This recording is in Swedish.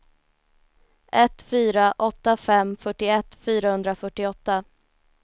ett fyra åtta fem fyrtioett fyrahundrafyrtioåtta